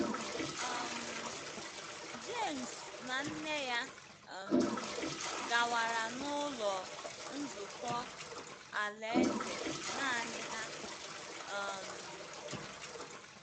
um James na nne ya um gawara n’Ụlọ Nzukọ Alaeze nanị ha um.